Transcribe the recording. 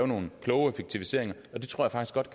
nogle kloge effektiviseringer og det tror jeg godt